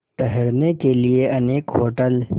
ठहरने के लिए अनेक होटल